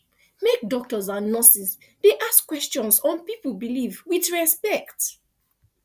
make doctors and nurses dey ask questions on people belief with repect